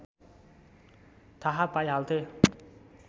थाहा पाइहाल्थे